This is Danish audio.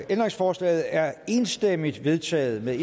ændringsforslaget er enstemmigt vedtaget med